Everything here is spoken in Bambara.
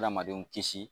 Adamadenw kisi